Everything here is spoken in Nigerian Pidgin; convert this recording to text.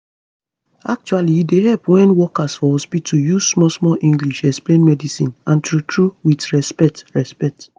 actually e dey help wen workers for hospitu use small small english explain medicine and true true with respect respect